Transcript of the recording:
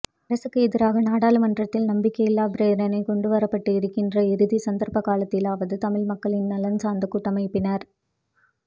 அரசிற்கு எதிராக நாடாளுமன்றத்தில் நம்பிக்கையில்லாப் பிரேரணை கொண்டு வரப்பட இருக்கின்ற இந்த இறுதிச் சந்தர்ப்பத்திலாவது தமிழ் மக்களின் நலன்சார்ந்து கூட்டமைப்பினர்